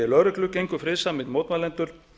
lögreglu gengu friðsamir mótmælendur